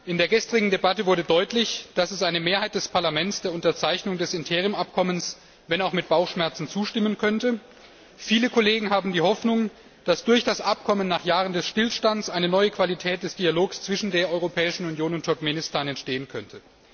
In der gestrigen Debatte wurde deutlich, dass eine Mehrheit des Parlaments der Unterzeichnung des Interimsabkommens wenn auch mit Bauchschmerzen zustimmen könnte. Viele Kollegen haben die Hoffnung, dass durch das Abkommen nach Jahren des Stillstands eine neue Qualität des Dialogs zwischen der Europäischen Union und Turkmenistan entstehen könnte.